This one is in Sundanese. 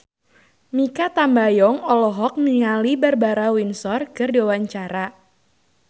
Mikha Tambayong olohok ningali Barbara Windsor keur diwawancara